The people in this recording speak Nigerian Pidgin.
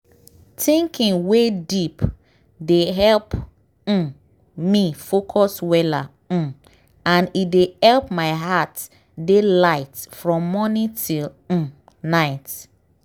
thinking wey deep dey help um me focus weller um and e dey help my heart dey light from morning till um night.